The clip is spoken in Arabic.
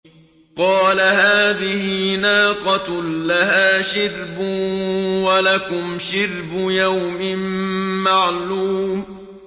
قَالَ هَٰذِهِ نَاقَةٌ لَّهَا شِرْبٌ وَلَكُمْ شِرْبُ يَوْمٍ مَّعْلُومٍ